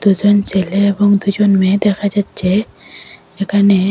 দুজন ছেলে এবং দুজন মেয়ে দেখা যাচ্ছে এখানে।